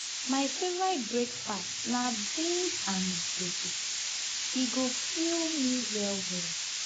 my favorite breakfast na beans and dodo; e go fill me well well.